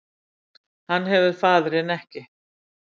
Hann hefur faðirinn ekki